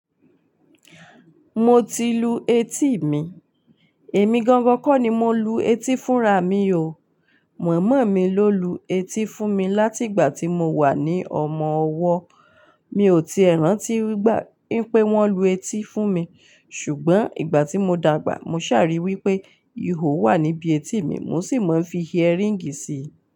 Mo ti lu etí mi, èmi gangan kọ́ ni mo lu etí fúnra mi o, mama mi ló lu etí fún mi láti ìgbà tí mo wà ní ọmọ ọwọ́. Mi ò ti è rántí nigbá wipé wọ́n lu etí fún mi, ṣùgbọ́n ìgbà tí mo dàgbà, mo ṣàrí wí pé ihò wà níbi etí mi, mo sì mọ fi earringi sí i.